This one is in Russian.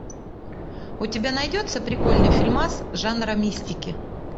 у тебя найдется прикольный фильмас жанра мистики